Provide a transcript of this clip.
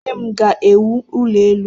Nne m ga-ewu ụlọ elụ.